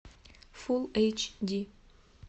фул эйч ди